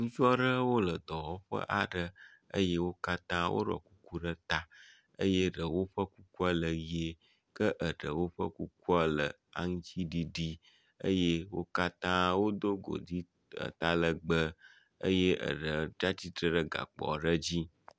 Ŋutsu aɖewo le dɔwƒe aɖe eye wo katã woɖɔ kuku ɖe ta eye ɖewo ƒe kukua le ʋi eye ɖewo ʋie ke eɖewo ƒe kukua le aŋtsiɖiɖi eye wo katã wodo godi atalegbe eye eɖe tsi atsitre ɖe gakpo aɖe dzi.